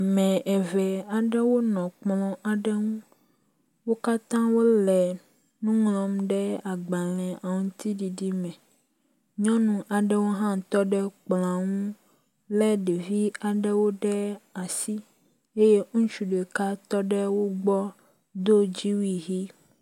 Ame eve aɖewo nɔ kplɔ aɖe ŋu. Wo katã wo le nu ŋlɔm ɖe agbale aŋtiɖiɖi me. Nyɔnu aɖewo hã tɔ ɖe kplɔa ŋu le ɖevi aɖe ɖe asi ye ŋutsu ɖeka tɔ ɖe wo gbɔ do dziwui ʋi.